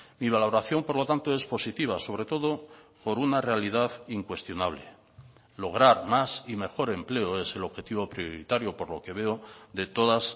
mi valoración por lo tanto es positiva sobre todo por una realidad incuestionable lograr más y mejor empleo es el objetivo prioritario por lo que veo de todas